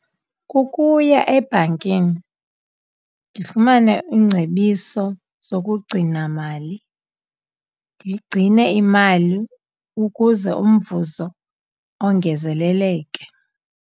Kukuya ebhankini ndifumane iingcebiso zokugcinamali, ndigcine imali ukuze umvuzo ongezeleleke.